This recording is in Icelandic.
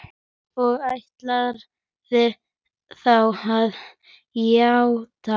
Og ætlarðu þá að játa?